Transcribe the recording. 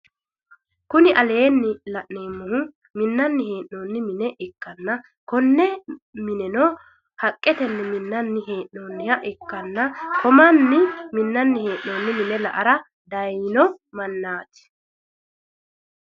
Kuni laneemmohu minnani heenoonni mine ikkanna konne mineno haqqete minnani heenooniha ikkanna ko mannino minnani henooni mine la'ara dayiino manaati